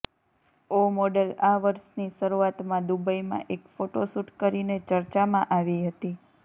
ઓ model આ વર્ષની શરૂઆતમાં દૂબઈમાં એક ફોટોશૂટ કરીને ચર્ચામાં આવી હતી